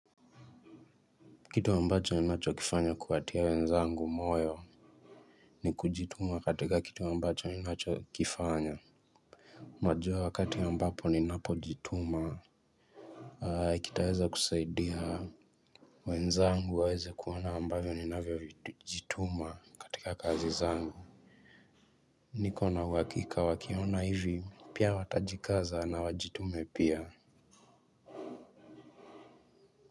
Kitu ambacho ninacho kifanya kuwatia wenzangu moyo ni kujituma katika kitu ambacho ninacho kifanya. Najua wakati ambapo ninapojituma, kitaeza kusaidia. Wenzangu waeze kuona ambavyo ninavyo jituma katika kazi zangu. Niko na uhakika wakiona hivi, pia watajikaza na wajitume pia.